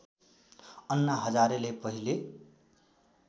अन्ना हजारेले पहिले